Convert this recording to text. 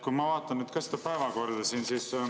Ma vaatan ka siin seda päevakorda.